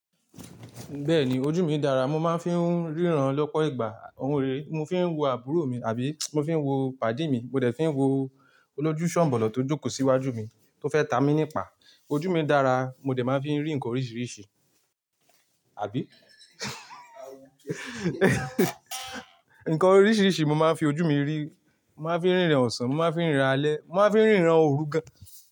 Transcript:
Bẹ́ẹ̀ni ojú mi dára, mo máa ń fi ń ríran lọ́pọ̀ ìgbà. Òń rere, mo fi ń wo àbúrò mi àbí mo fi ń wo pàdé mi, mo dẹ̀ fi ń wo olójúṣànbọ̀lọ́ tó jókòó sí iwájú mi tó fẹ́ ta mi nípa. Ojú mi dára, mo dẹ̀ máa ń fi rí nǹkan oríṣiríṣi, àbí? Nǹkan oríṣiríṣi mo máa ń fi ojú mi rí, mo máa ń fi ń ríran ọ̀sán, mo máa fi ń ríran alẹ́, mo máa ń fi ń ríran òrù gan.